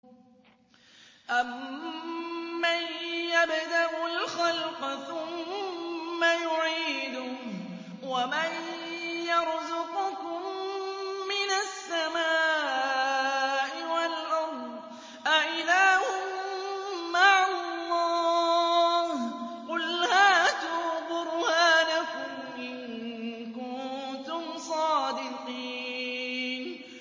أَمَّن يَبْدَأُ الْخَلْقَ ثُمَّ يُعِيدُهُ وَمَن يَرْزُقُكُم مِّنَ السَّمَاءِ وَالْأَرْضِ ۗ أَإِلَٰهٌ مَّعَ اللَّهِ ۚ قُلْ هَاتُوا بُرْهَانَكُمْ إِن كُنتُمْ صَادِقِينَ